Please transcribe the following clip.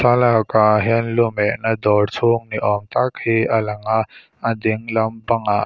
thlalakah hian lu mehna dawr chhung ni awm tak hi a lang a a ding lampangah hi--